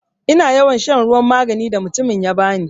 Ina yawan shan ruwan maganin da mutumin ya bani.